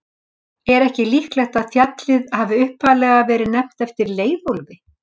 Er ekki líklegt að fjallið hafi upphaflega verið nefnt eftir Leiðólfi?